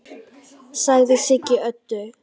sagði Siggi Öddu.